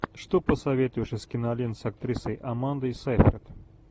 что посоветуешь из кинолент с актрисой амандой сейфрид